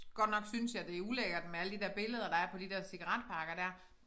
Godt nok synes jeg det ulækkert med alle de der billeder der er på de der cigaretpakker der